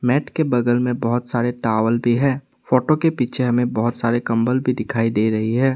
Net के बगल में बहोत सारे टॉवल भी है फोटो के पीछे हमें बहोत सारे कंबल भी दिखाई दे रही है।